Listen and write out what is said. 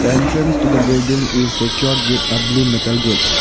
entrance to the building is secured with a blue metal gates.